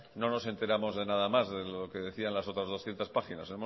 no nos enteramos de nada más de lo que decía en las otras doscientos páginas